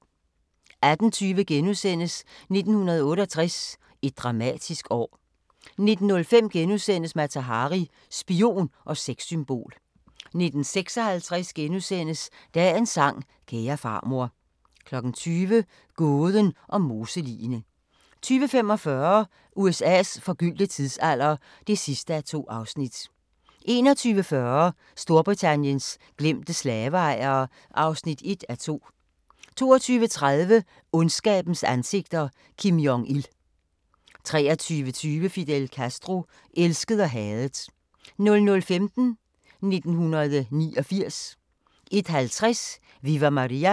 18:20: 1968 – et dramatisk år * 19:05: Mata Hari – spion og sexsymbol * 19:56: Dagens sang: Kære farmor * 20:00: Gåden om moseligene 20:45: USA's forgyldte tidsalder (2:2) 21:40: Storbritanniens glemte slaveejere (1:2) 22:30: Ondskabens ansigter – Kim Jong-il 23:20: Fidel Castro – elsket og hadet 00:15: 1989 01:50: Viva Maria!